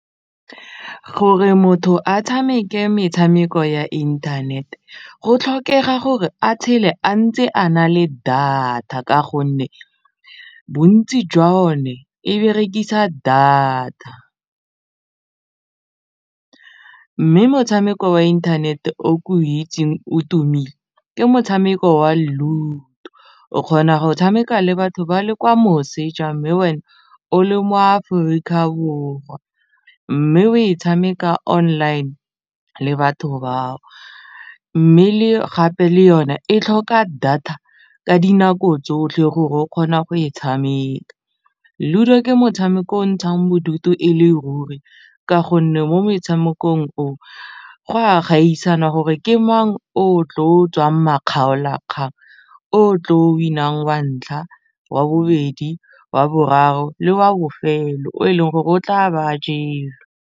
Gore motho a tshameke metshameko ya internet go tlhokega gore a tshele a ntse a na le data ka gonne bontsi jwa one e berekisa data mme motshameko wa inthanete o ke o itseng o tumile ke motshameko wa ludo o kgona go tshameka le batho ba le kwa moseja mme wena o le mo Aforika Borwa mme o e tshameka online le batho bao mme le gape le yone e tlhoka data ka dinako tsotlhe gore o kgona go e tshameka, ludo ke motshameko o o ntshang bodutu e le ruri ka gonne mo metshamekong o go a gaisana gore ke mang o tlo tswang makgaolakgang o tlo win-ang wa ntlha, wa bobedi, wa boraro le wa bofelo o e leng gore o tla be a jelwe.